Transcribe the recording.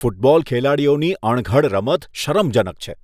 Football ખેલાડીઓની અણઘડ રમત શરમજનક છે.